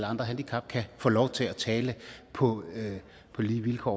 andre handicap kan få lov til at tale på lige vilkår